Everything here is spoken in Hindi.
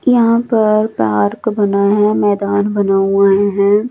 यहां पर पार्क बना है मैदान बना हुआ हैं।